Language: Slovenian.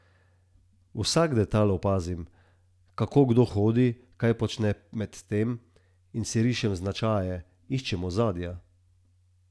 Vsak detajl opazim, kako kdo hodi, kaj počne medtem, in si rišem značaje, iščem ozadja.